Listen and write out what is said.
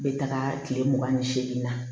N bɛ taga kile mugan ni segin na